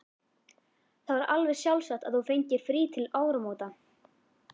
Það var alveg sjálfsagt að þú fengir frí til áramóta.